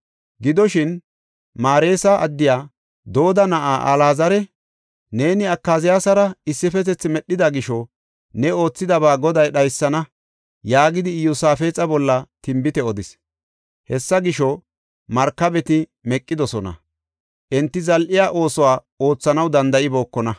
Gidoshin Mareesa addey Dooda na7ay Alaazari, “Neeni Akaziyaasara issifetethi medhida gisho ne oothidaba Goday dhaysana” yaagidi Iyosaafexa bolla tinbite odis. Hessa gisho, markabeti meqidosona; enti zal7e oosuwa oothanaw danda7ibookona.